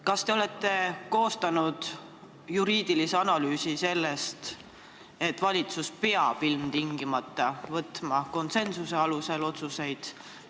Kas te olete koostanud juriidilise analüüsi selle kohta, et valitsus peab ilmtingimata võtma otsuseid vastu konsensuse alusel?